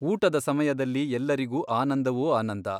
ಊಟದ ಸಮಯದಲ್ಲಿ ಎಲ್ಲರಿಗೂ ಆನಂದವೋ ಆನಂದ.